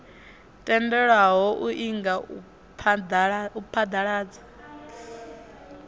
tendelwaho u inga u phaḓaladza